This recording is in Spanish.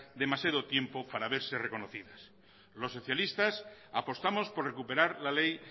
demasiado tiempo para verse reconocidas los socialistas apostamos por recuperar la ley